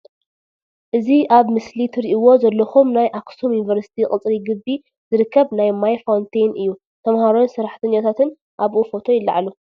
እዚ አብ ምስሊ ትሪእዎ ዘለኩም ናይ አክሱም ዪኒቨርስቲ ቅፅሪ ግብ ዝርክብ ናይ ማይ ፋውንቴን እዩ ተምሃሮን ሰራሕተኛታን እብኡ ፎቶ ይለዓሉ።